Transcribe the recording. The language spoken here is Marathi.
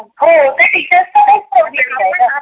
हो टीचर्स ला काही problem नसतोना.